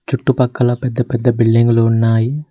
చుట్టుపక్కల పెద్ద పెద్ద బిల్డింగులు ఉన్నాయి.